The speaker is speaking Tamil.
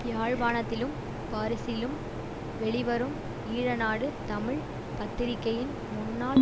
யாழ்ப்பாணத்திலும் பாரிசிலும் வெளிவரும் ஈழநாடு தமிழ் பத்திரிகையின் முன்நாள்